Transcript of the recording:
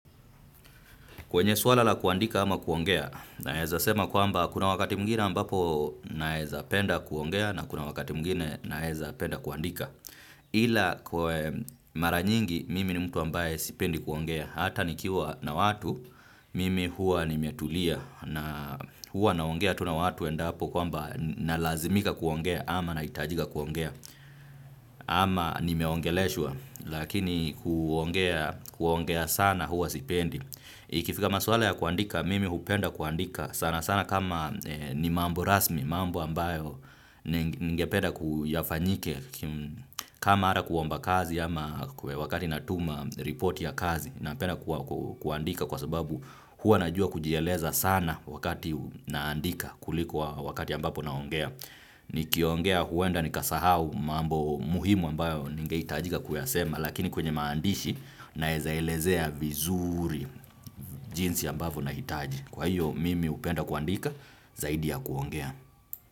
Kwenye swala la kuandika ama kuongea naeza sema kwamba kuna wakati mwingine ambapo naezapenda kuongea na kuna wakati mwingine na naezapenda kuandika. Ila kwa mara nyingi mimi ni mtu ambaye sipendi kuongea. Hata nikiwa na watu mimi huwa nimetulia na huwa naongea tu na watu endapo kwamba nalazimika kuongea ama nahitajika kuongea. Ama nimeongeleshwa lakini kuongea sana huwa sipendi. Ikifika maswala ya kuandika mimi hupenda kuandika sana sana kama ni mambo rasmi mambo ambayo ningependa yafanyike kama hata kuomba kazi ama wakati natuma report ya kazi napenda kuandika kwa sababu hua najua kujieleza sana wakati naandika kuliko wakati ambapo naongea. Nikiongea huenda nikasahau mambo muhimu ambayo ningehitajika kuyasema lakini kwenye maandishi naeza elezea vizuri jinsi ambavyo nahitaji. Kwa hiyo mimi hupenda kuandika zaidi ya kuongea.